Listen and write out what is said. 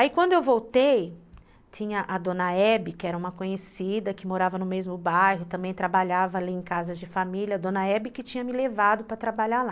Aí quando eu voltei, tinha a Dona Hebe, que era uma conhecida, que morava no mesmo bairro, também trabalhava ali em casa de família, a Dona Hebe que tinha me levado para trabalhar lá.